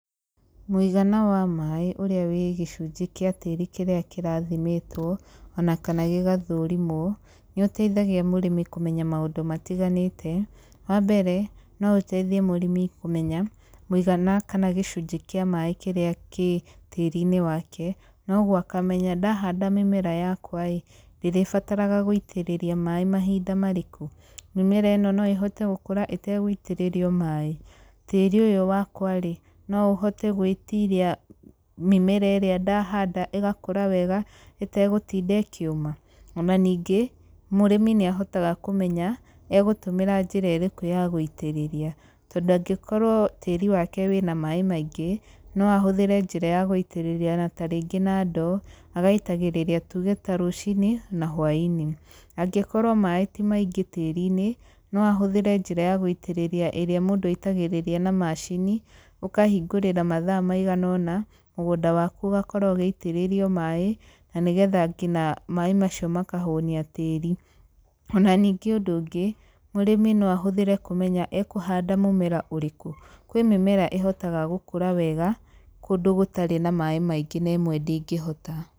Mũigana wa maĩ ũrĩa wĩ gĩcunjĩ kĩa tĩri kĩrĩa kĩrathimĩtwo, ona kana gĩgathũrimwo, nĩ ũteithagia mũrĩmi kũmenya maũndũ matiganĩte. Wa mbere, no ũteithie mũrĩmi kũmenya, mũigana kana gĩcunjĩ kĩa maĩ kĩrĩa kĩ tĩri-inĩ wake, na ũguo akamenya ndahanda mĩmera yakwa ĩĩ, ndĩrĩbataraga gũitĩrĩria maĩ mahinda marĩkũ? Mĩmera ĩno no ĩhote gũkũra ĩtegũitĩrĩrio maĩ? Tĩri ũyũ wakwa rĩ, no ũhote gwĩtiria mĩmera ĩrĩa ndahanda ĩgakũra wega ĩtegũtinda ĩkĩũma? Ona ningĩ, mũrĩmi nĩ ahotaga kũmenya, egũtũmĩra njĩra ĩrĩkũ ya gũitĩrĩria. Tondũ angĩkorwo tĩri wake wĩna maĩ maingĩ, no ahũthĩre njĩra ya gũitĩrĩria na tarĩngĩ na ndoo, agaitagĩrĩria tuge ta rũcinĩ, na hwainĩ. Angĩkorwo maĩ ti maingĩ tĩri-inĩ, no ahũthĩre njĩra ya gũitĩrĩria ĩrĩa mũndũ aitagĩrĩria na macini, ũkahingũrĩra mathaa maigana ũna, mũgũnda waku ũgakorwo ũgĩitĩrĩrio maĩ, na nĩgetha ngina maĩ macio makahũnia tĩri. Ona ningĩ ũndũ ũngĩ, mũrĩmi no ahũthĩre kũmenya ekũhanda mũmera ũrĩkũ. Kwĩ mĩmera ĩhotaga gũkũra wega, kũndũ gũtarĩ na maĩ maingĩ na ĩmwe ndĩngĩhota.